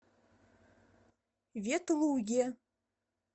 ветлуге